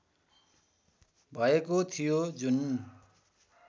भएको थियो जुन